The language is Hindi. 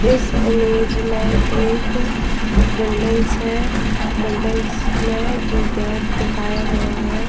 इस इमेज में एक बिल्डिंग्स है बिल्डिंग्स में जो गैट दिखाया गया है।